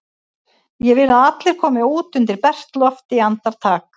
Ég vil að allir komi út undir bert loft í andartak!